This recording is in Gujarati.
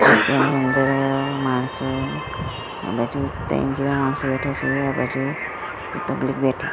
ત્યાં અંદર માણસો આ બાજુ બેઠા છે આ બાજુ પબ્લીક બેઠ--